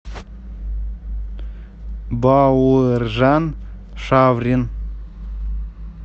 бауыржан шаврин